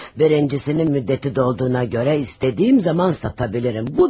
Birincisinin müddəti dolduğuna görə istədiyim zaman sata bilərəm.